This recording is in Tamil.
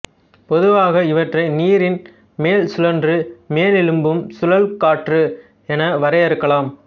பொதுவாக இவற்றை நீரின் மேல் சுழன்று மேலெழும்பும் சுழல் காற்று என வரையறுக்கலாம்